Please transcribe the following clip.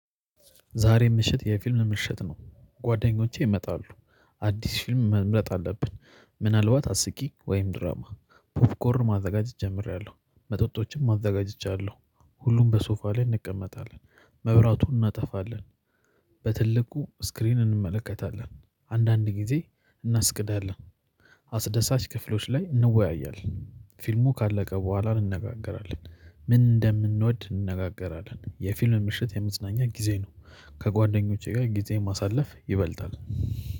ዛሬ ምሽት የፊልም ምሽት ነው ጓደኞቼ ይመጣሉ። አዲስ ፊልም መምረጥ አለብን ምናልባት አስቂኝ ወይም ድራማ። ፑፕኮር ማዘጋጀት ጀምሬያለሁ መጠጦችም አዘጋጅቻለሁ። ሁሉም በሶፋ ላይ እንቀመጣለን መብራቱን እናጠፋለን። በትልቁ ስክሪን እንመለከታለን አንዳንድ ጊዜ እናስቅዳለን። አስደሳች ክፍሎች ላይ እንወያያለን ፊልሙ ካለቀ በኋላ እንነጋገራለን። ምን እንደምንወድ እንነጋገራለን የፊልም ምሽት የመዝናኛ ጊዜ ነው። ከጓደኞቼ ጋር ጊዜ ማሳለፍ ይበልጣል።